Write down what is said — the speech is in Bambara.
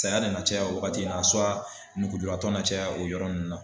Saya nana caya o wagati in na tɔ na caya o yɔrɔ in na.